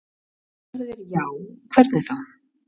Ef svarið er já, hvernig þá?